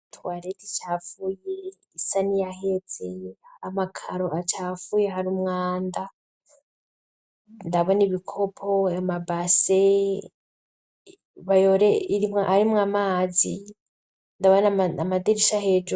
Twareti icafuyi isani yahetse. Amakaro acafuye hari umwanda ndabona ibikopo amabase irimwa arimwo amazi ndabona amadirisha hejuru